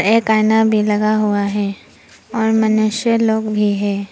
एक आईना भी लगा हुआ है और मनुष्य लोग भी हैं।